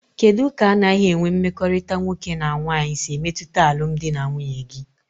Kedụ ka anaghị enwe mmekọrịta nwoke na nwaanyị si emetụta alụmdi na nwunye gị?